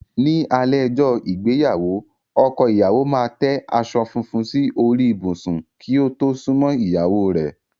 Ní alé ọjọ́ ìgbéyàwó, ọkọ ìyáwo máa tẹ aṣọ fúnfún sí orí ìbùsù kí ó tó súnmọ́ ìyáwó rẹ̀.